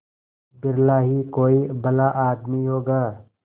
बिरला ही कोई भला आदमी होगा